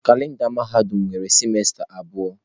Kalenda mahadum nwere sịmesta abụọ.